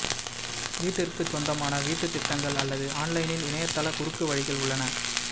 வீட்டிற்குச் சொந்தமான வீட்டு திட்டங்கள் அல்லது ஆன்லைனில் இணையத்தள குறுக்கு வழிகள் உள்ளன